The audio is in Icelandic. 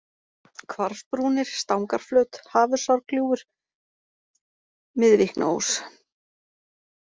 Hvarfsbrúnir, Stangarflöt, Hafursárglúfur, Miðvíknaós